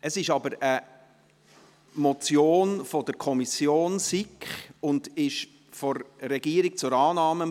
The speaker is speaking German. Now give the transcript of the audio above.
Es ist aber eine Motion der SiK, und die Regierung empfiehlt Annahme.